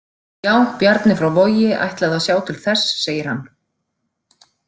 Já, Bjarni frá Vogi ætlaði að sjá til þess, segir hann.